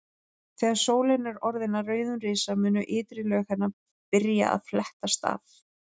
Þegar sólin er orðin að rauðum risa munu ytri lög hennar byrja að flettast af.